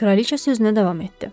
Kraliça sözünə davam etdi.